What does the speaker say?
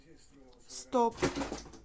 стоп